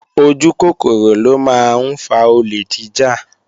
Ojúkòkòrò ló máa ń fa olè jíjà